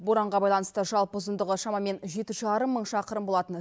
боранға байланысты жалпы ұзындығы шамамен жеті жарым мың шақырым болатын